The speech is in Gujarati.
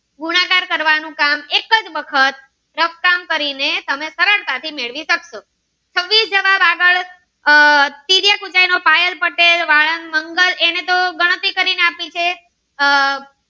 કરવાનું કામ એક જ વખત રંકટંગ કરી ને તમે સરળતા થી મેળવી સક્સો છવ્વીસ જવાબ આગળ આહ તિર્યક ઉંચાઈ પાયલ પટેલ વલાદ મંગલ એને તો ગણતરી કરી ને આપી છે આહ